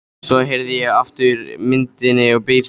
Svo herði ég aftur og myndin birtist á ný.